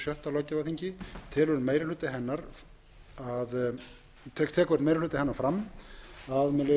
á hundrað þrítugasta og sjötta löggjafarþingi tekur meiri hluti hennar fram með leyfi forseta á